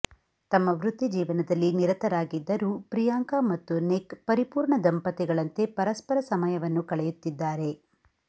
ತಮ್ಮ ವೃತ್ತಿಜೀವನದಲ್ಲಿ ನಿರತರಾಗಿದ್ದರೂ ಪ್ರಿಯಾಂಕಾ ಮತ್ತು ನಿಕ್ ಪರಿಪೂರ್ಣ ದಂಪತಿಗಳಂತೆ ಪರಸ್ಪರ ಸಮಯವನ್ನು ಕಳೆಯುತ್ತಿದ್ದಾರೆ